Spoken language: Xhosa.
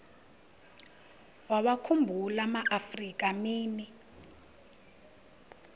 wawakhumbul amaafrika mini